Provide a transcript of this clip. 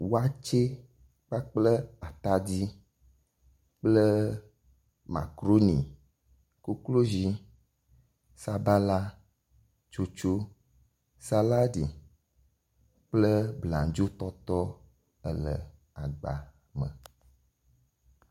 Watsɛ kplakple atadi kple makaɖoni, koklozi, sabala tsotso, saladi kple bladzo tɔtɔ ele agba me.